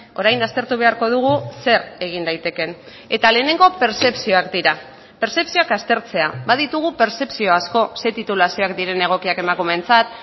orain aztertu beharko dugu zer egin daitekeen eta lehenengo pertzepzioak dira pertzepzioak aztertzea baditugu pertzepzio asko ze titulazioak diren egokiak emakumeentzat